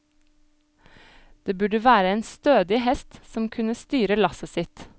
Det burde være en stødig hest, som kunne styre lasset sitt.